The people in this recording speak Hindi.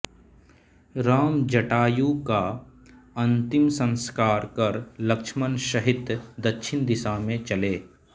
राम जटायु का अंतिम संस्कार कर लक्ष्मण सहित दक्षिण दिशा में चले